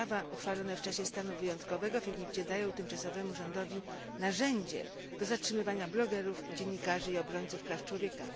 Prawa uchwalone w czasie stanu wyjątkowego w Egipcie dają tymczasowemu rządowi narzędzie do zatrzymywania blogerów, dziennikarzy i obrońców praw człowieka.